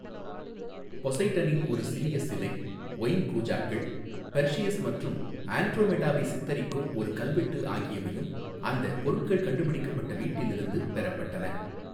பொசைடனின் ஒரு சிறிய சிலை, ஒயின் கூஜாக்கள், பெர்சியஸ் மற்றும் ஆண்ட்ரோமெடாவை சித்தரிக்கும் ஒரு கல்வெட்டு ஆகியவையும் அந்த பொருட்கள் கண்டுபிடிக்கப்பட்ட வீட்டிலிருந்து பெறப்பட்டன.